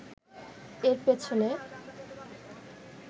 এর পেছনে